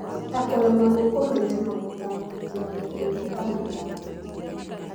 ta kũremwo nĩ kũmenya na gũtangĩkĩra mathĩna ta mĩtangĩko,